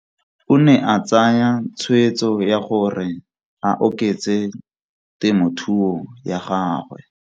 O ne a tsaya tshweetso ya gore a oketse temothuo ya gagwe.